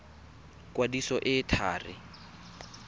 kwadiso e e thari ya